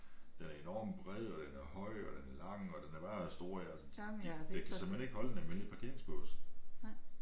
Den er enormt bred og den er høj og den er lang og den er bare stor altså den kan simpelthen ikke holde i en almindelig parkeringsbås